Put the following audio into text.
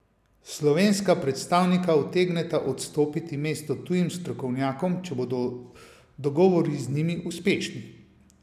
Slovenska predstavnika utegneta odstopiti mesto tujim strokovnjakom, če bodo dogovori z njimi uspešni.